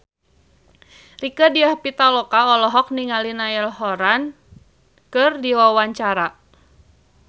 Rieke Diah Pitaloka olohok ningali Niall Horran keur diwawancara